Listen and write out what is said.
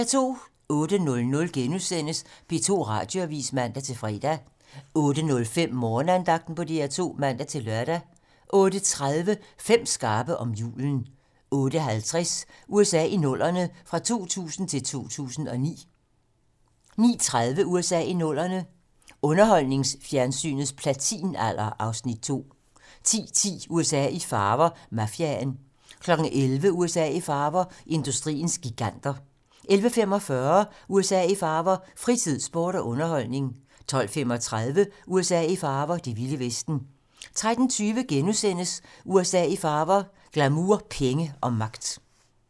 08:00: P2 Radioavis *(man-fre) 08:05: Morgenandagten på DR2 (man-lør) 08:30: 5 skarpe om julen 08:50: USA i 00'erne - fra 2000 til 2009 09:30: USA i 00'erne - underholdningsfjernsynets platinalder (Afs. 2) 10:10: USA i farver - Mafiaen 11:00: USA i farver - industriens giganter 11:45: USA i farver - fritid, sport og underholdning 12:35: USA i farver - det vilde vesten 13:20: USA i farver - glamour, penge og magt *